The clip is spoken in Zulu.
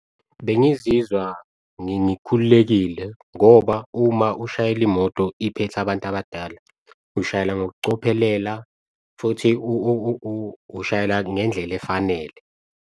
Bengizizwa ngikhululekile ngoba uma ushayela imoto iphethe abantu abadala, ushayela ngokucophelela futhi ushayela ngendlela efanele.